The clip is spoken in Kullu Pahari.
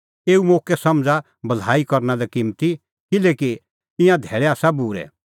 एऊ मोक्कै समझ़ा भलाई करना किम्मती किल्हैकि ईंयां धैल़ै आसा बूरै